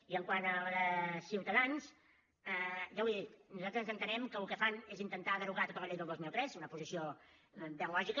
i quant a la de ciutadans ja ho he dit nosaltres entenem que el que fan és intentar derogar tota la llei del dos mil tres una posició ben lògica